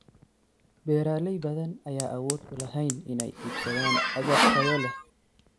Beeralay badan ayaan awood u lahayn inay iibsadaan agab tayo leh.